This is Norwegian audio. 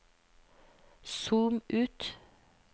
zoom ut